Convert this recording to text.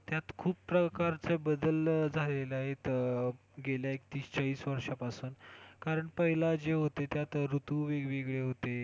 त्यात खूप प्रकारचे बदल झालेत आहेत गेल्या तीस चाळीस वर्षांपासून कारण पहिले जे होते त्यात ऋतू वेगवेगळे होते.